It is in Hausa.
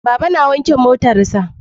Baba na wanke motar sa